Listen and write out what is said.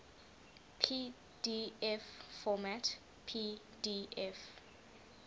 pdf format pdf